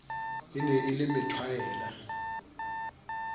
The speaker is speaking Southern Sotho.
e ne e le methwaela